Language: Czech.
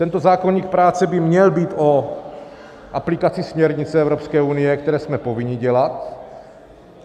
Tento zákoník práce by měl být o aplikace směrnic Evropské unie, které jsme povinni dělat.